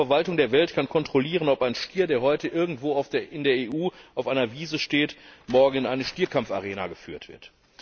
Denn keine Verwaltung der Welt kann heute kontrollieren, ob ein Stier, der heute irgendwo in der EU auf einer Wiese steht, morgen in eine Stierkampfarena geführt wird.